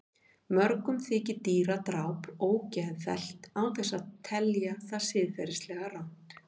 Mörgum þykir dýradráp ógeðfellt án þess að telja það siðferðilega rangt.